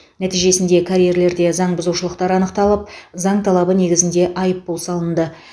нәтижесінде карьерлерде заң бұзушылықтар анықталып заң талабы негізінде айыппұл салынды